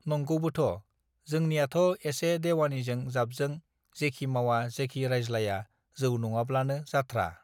नंगौबोथ जोंनियाथ एसे देवानिजों जाबजों जेखि मावा जेखि रायज्लाया जौ नङाब्लानो जाथ्रा